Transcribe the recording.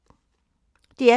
DR P3